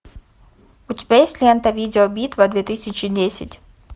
у тебя есть лента видеобитва две тысячи десять